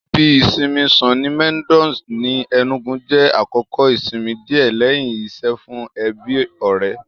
Ibi ìsinmi Sunny Meadows ní Ẹnúgu jẹ́ àkókò ìsinmi díẹ̀ lẹ́hìn iṣẹ́ fún ẹbí-ọ̀rẹ́